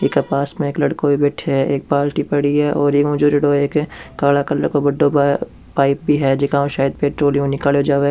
इका पास में एक लड़को भी बैठे है एक बालटी पड़ी है काला कलर का बड़ो पाइप भी है जेकाम सायद पेट्रोलियम निकालो जावे।